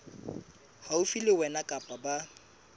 haufi le wena kapa ba